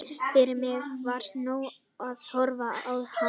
Fyrir mig var nóg að horfa á hana og eiga hana.